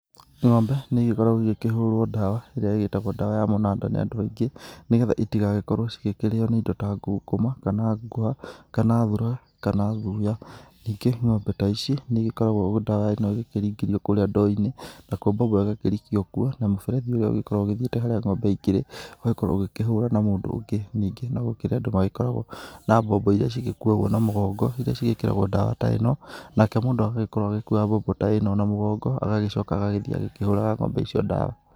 Ng'ombe nĩigĩkoragwo igĩkĩhũrwo dawa ĩria ĩgĩtagwo dawa ya mũnanda nĩ andũ aingĩ, nĩgetha itigagĩkorwo cigĩkĩrĩĩo nĩ indo ta ngũkũma kana ngũha kana thura kana thuuya. Ningĩ, ng'ombe ta ici nĩigĩkoragwo ũguo dawa ĩno ĩkĩringĩrio kũũrĩa ndoo-inĩ nakuo mbombo ĩgakĩrikio kuo na mũberethi ũyũ ũgagĩkorwo ũthiĩte harĩa ng'ombe ikĩrĩ ũgakorwo ũgĩkĩhũũra na mũndũ ũngĩ. Ningĩ no gũkĩrĩ andũ magĩkoragwo na mbombo iria cigĩkuagwo na mũgongo iria cigĩkĩragwo dawa ta ĩno nake mũndũ agagĩkorwo agĩkuua mbombo ta ĩno na mũgongo agagĩcooka agagĩthiĩ agĩkĩhũũraga ng'ombe icio dawa.